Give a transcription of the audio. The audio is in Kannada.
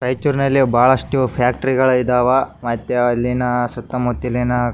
ರೈಚೂರಿನಲ್ಲಿ ಬಹಳಷ್ಟು ಫ್ಯಾಕ್ಟರಿ ಗಳು ಇದ್ದವ ಮತ್ತೆ ಅಲ್ಲಿನ ಸುತ್ತ ಮುತ್ತಲಿನ --